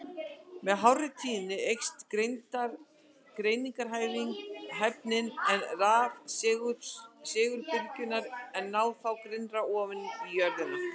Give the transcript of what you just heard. Með hárri tíðni eykst greiningarhæfnin, en rafsegulbylgjurnar ná þá grynnra ofan í jörðina.